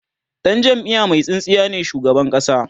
Dan jamiya Mai tsintsiya ne shugaban ƙasa